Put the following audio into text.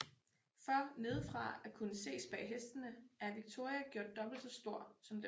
For nedefra at kunne ses bag hestene er Victoria gjort dobbelt så stor som dem